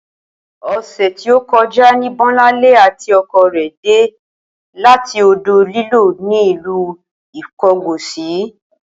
O̩sè̩ tí ó ko̩já ní Bó̩lánlé àti o̩ko̩ rè̩ dé láti odò-líló̩ ní ìlú Ìko̩gòsì